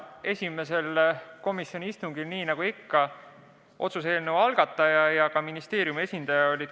Esimesel komisjoni istungil olid nagu ikka kohal ka otsuse eelnõu algataja esindaja, samuti ministeeriumi esindaja.